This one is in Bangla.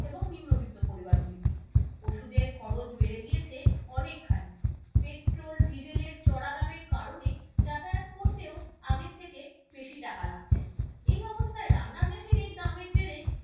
এবং নিম্নবিত্ত পরিবারগুলিকে। ওষুধের খরচ বেড়ে গিয়েছে অনেকখানি, petrol diesel এর চড়া দামের কারণে যাতায়াত করতেও আগের থেকে বেশি টাকা লাগছে, এই অবস্থায় রান্নার gas এর এই দামের জেরে